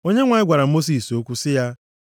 Onyenwe anyị gwara Mosis okwu sị ya,